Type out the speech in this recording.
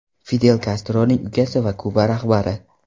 Fidel Kastroning ukasi va Kuba rahbari.